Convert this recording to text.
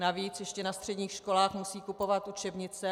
Navíc ještě na středních školách musí kupovat učebnice.